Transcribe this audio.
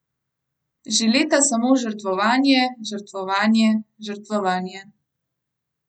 Že leta samo žrtvovanje, žrtvovanje, žrtvovanje.